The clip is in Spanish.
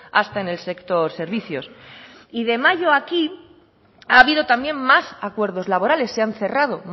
hasta en el sector servicios y de mayo aquí ha habido también más acuerdos laborales se han cerrado